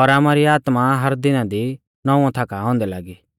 और आमारी आत्मा हर दिना दी नौंवौ थाका आ औन्दै लागी